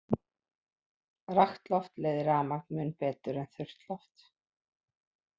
Rakt loft leiðir rafmagn mun betur en þurrt loft.